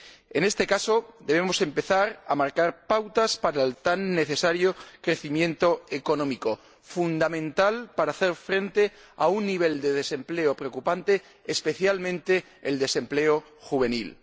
En este caso, debemos empezar a marcar pautas para el tan necesario crecimiento económico, fundamental para hacer frente a un nivel de desempleo preocupante, especialmente el desempleo juvenil.